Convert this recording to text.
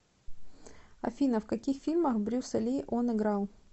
афина в каких фильмах брюса ли он играл